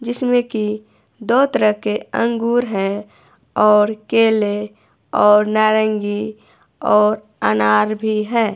जिसमें की दो तरह के अंगूर है और केले और नारंगी और अनार भी है।